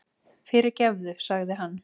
Fyrirgefðu, sagði hann.